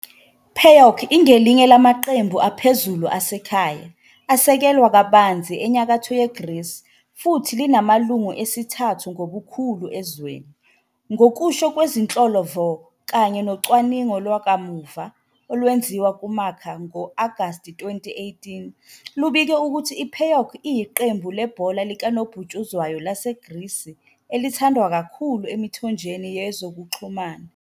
-PAOK ingelinye lamaqembu aphezulu asekhaya, asekelwa kabanzi eNyakatho yeGreece futhi linamalungu esithathu ngobukhulu ezweni, ngokusho kwezinhlolo-vo kanye nocwaningo lwakamuva. olwenziwa nguMarca ngo-Agasti 2018, lubike ukuthi i-PAOK iyiqembu lebhola likanobhutshuzwayo laseGrisi elithandwa kakhulu emithonjeni yezokuxhumana.